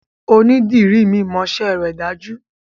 Onídìrí mi mọṣẹ́ rẹ̀ dájú.